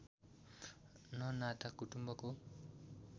न नाता कुटुम्बको